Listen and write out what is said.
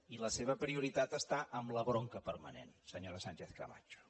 i la seva prioritat està en la bronca permanent senyora sánchez camacho